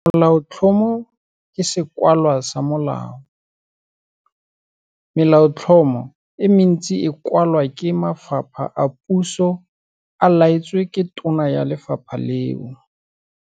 Molaotlhomo ke sekwalwa sa molao. Melaotlhomo e mentsi e kwalwa ke mafapha a puso a laetswe ke tona ya lefapha leo.